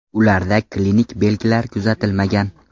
Ularda klinik belgilar kuzatilmagan.